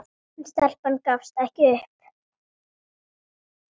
En stelpan gafst ekki upp.